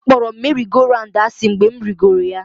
Akpọrọ m merị-go-raụndụ asị mgbe m rigoro ya